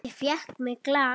Ég fékk mér glas.